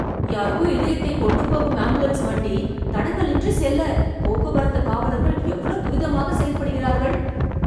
யாருக்கோ இதயத்தைக் கொண்டு போகும் ஆம்புலன்ஸ் வண்டி, தடங்கலின்றி செல்ல, போக்குவரத்துக் காவலர்கள் எவ்ளோ துரிதமாகச் செயல்படுகிறார்கள்...